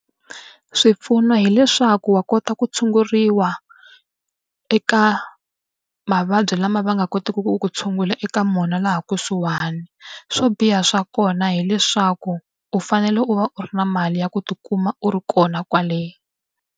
Swipfuno hileswaku wa kota ku tshunguriwa eka mavabyi lama va nga kotiki ku tshungula eka wona laha kusuhani. Swo biha swa kona hileswaku u fanele u va u ri na mali ya ku tikuma u ri kona kwale.